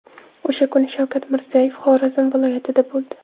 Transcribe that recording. O‘sha kuni Shavkat Mirziyoyev Xorazm viloyatida bo‘ldi.